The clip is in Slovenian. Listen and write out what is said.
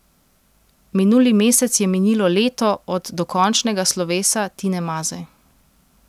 Minuli mesec je minilo leto od dokončnega slovesa Tine Maze.